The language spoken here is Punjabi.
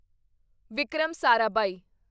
ਵਿਕਰਮ ਸਾਰਾਭਾਈ